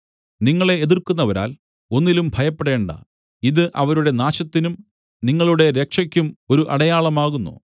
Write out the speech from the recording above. നിങ്ങളെ എതിർക്കുന്നവരാൽ ഒന്നിലും ഭയപ്പെടേണ്ട ഇത് അവരുടെ നാശത്തിനും നിങ്ങളുടെ രക്ഷയ്ക്കും ഒരു അടയാളമാകുന്നു